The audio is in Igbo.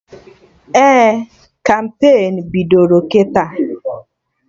Ee, kampain bidoro kịta